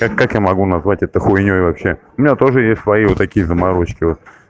так как я могу назвать это хуйнёй вообще у меня тоже есть свои вот такие заморочки вот